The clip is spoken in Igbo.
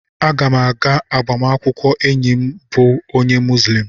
Aga m aga agbamakwụkwọ enyi m bụ onye Muzlem.